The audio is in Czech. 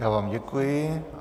Já vám děkuji.